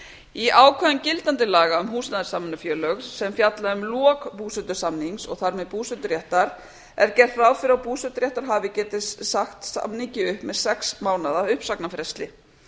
í ákvæðum gildandi laga um húsnæðissamvinnufélög sem fjalla um lok búsetusamnings og þar með búseturéttar er gert ráð fyrir að búseturéttarhafi geti sagt samningi upp með sex mánaða uppsagnarfresti